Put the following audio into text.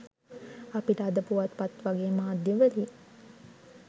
අපිට අද පුවත්පත් වගේ මාධ්‍යවලින්